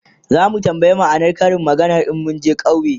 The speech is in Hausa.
zamu tambaya ma'anar Karin maganar in munje ƙauye